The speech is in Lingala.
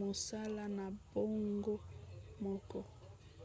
mosala na bango moko